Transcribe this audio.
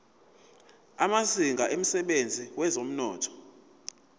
amazinga emsebenzini wezomnotho